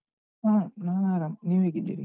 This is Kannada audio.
ಹಾ ನಾನ್ ಆರಾಮ್, ನೀವು ಹೇಗಿದ್ದೀರಿ?